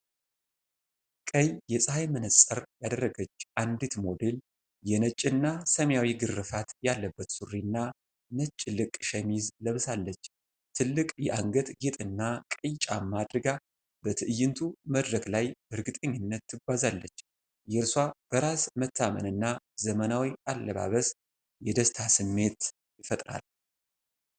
ቀይ የጸሐይ መነጽር ያደረገች አንዲት ሞዴል፣ የነጭና ሰማያዊ ግርፋት ያለበት ሱሪና ነጭ ልቅ ሸሚዝ ለብሳለች። ትልቅ የአንገት ጌጥና ቀይ ጫማ አድርጋ በትዕይንቱ መድረክ ላይ በእርግጠኝነት ትጓዛለች። የእርሷ በራስ መተማመንና ዘመናዊ አለባበስ የደስታ ስሜት ይፈጥራል።